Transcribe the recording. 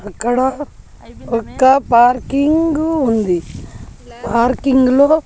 అక్కడ ఒక్క పార్కింగు ఉంది పార్కింగ్ లో --